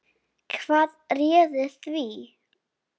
Hvað réði því?